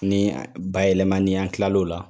Ni bayɛlɛmani ni an tilala o la .